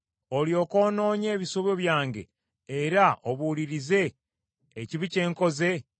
olyoke onoonye ebisobyo byange era obuulirize ekibi kye nkoze,